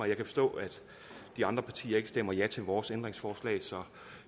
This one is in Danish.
jeg kan forstå at de andre partier ikke stemmer ja til vores ændringsforslag så